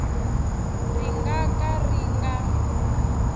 ri nga ka ri nga